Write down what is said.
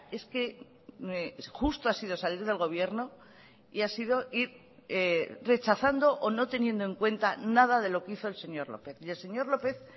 es que justo ha sido salir del gobierno y ha sido ir rechazando o no teniendo en cuenta nada de lo que hizo el señor lópez y el señor lópez